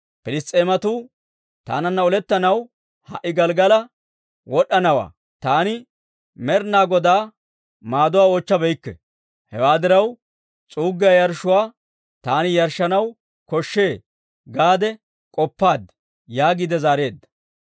‹Piliss's'eematuu taananna olettanaw ha"i Gelggala wod'd'anawantta; taani Med'inaa Godaa maaduwaa oochchabeykke; hewaa diraw, s'uuggiyaa yarshshuwaa taani yarshshanaw koshshe› gaade k'oppaad» yaagiide zaareedda.